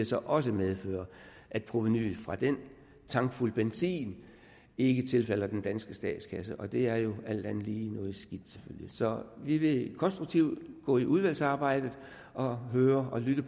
så også medføre at provenuet fra den tankfuld benzin ikke tilfalder den danske statskasse og det er jo selvfølgelig alt andet lige noget skidt så vi vil konstruktivt gå ind i udvalgsarbejdet og lytte